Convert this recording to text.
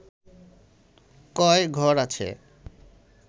কয় ঘর আছে